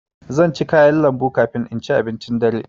Zan ci kayan lambu kafin in ci abincin dare.